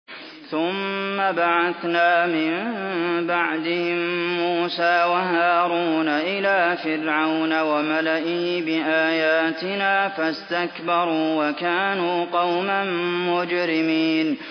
ثُمَّ بَعَثْنَا مِن بَعْدِهِم مُّوسَىٰ وَهَارُونَ إِلَىٰ فِرْعَوْنَ وَمَلَئِهِ بِآيَاتِنَا فَاسْتَكْبَرُوا وَكَانُوا قَوْمًا مُّجْرِمِينَ